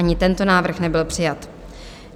Ani tento návrh nebyl přijat.